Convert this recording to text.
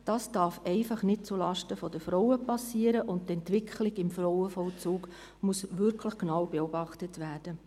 Dies darf einfach nicht zulasten der Frauen geschehen, und die Entwicklung im Frauenvollzug muss wirklich genau beobachtet werden.